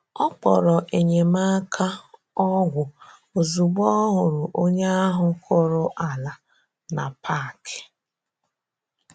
Ọ kpọrọ̀ enyemáka ọgwụ ozugbo ọ hụrụ̀ onye ahụ kụrụ̀ ala na park.